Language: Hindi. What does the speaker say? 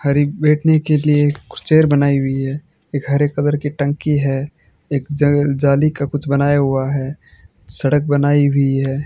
बाहर एक बैठने के लिए कुछ चेयर बनाई हुई है एक हरे कलर की टंकी है एक ज जाली का कुछ बनाया हुआ है सड़क बनाई हुई है।